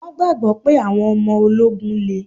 Wọn gbagbọ pé àwọn ọmọ ológun le